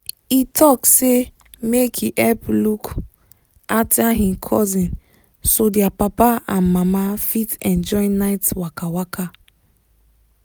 he talk say make he help look after him cousin so their papa and mama fit enjoy night waka. waka.